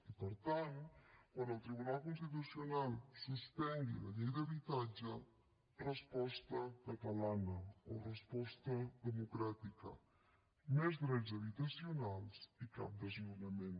i per tant quan el tribunal constitucional suspengui la llei d’habitatge resposta catalana o resposta democràtica més drets habitacionals i cap desnonament